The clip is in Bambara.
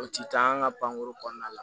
O ti taa an ka pankoro kɔnɔna la